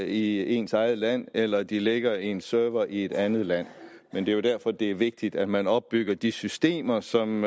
i ens eget land eller de ligger på en server i et andet land det er jo derfor det er vigtigt at man opbygger de systemer som